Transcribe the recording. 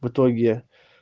в итоге